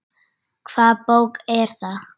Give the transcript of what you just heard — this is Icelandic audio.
Hvaða bók er það?